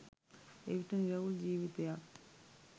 එවිට නිරවුල් ජීවිතයක්